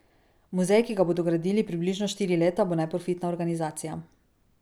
Muzej, ki ga bodo gradili približno štiri leta, bo neprofitna organizacija.